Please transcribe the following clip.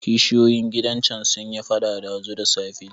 Kishiyoyin gidan can sun yi faɗa ɗazu da safe.